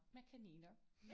Med kaniner